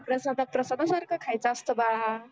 प्रसादा प्रसदा सारख खायच असत बाळा